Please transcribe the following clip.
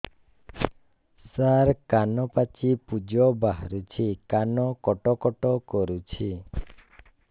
ସାର କାନ ପାଚି ପୂଜ ବାହାରୁଛି କାନ କଟ କଟ କରୁଛି